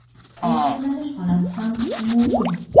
Ovqatlanish xonasi ham umumiy.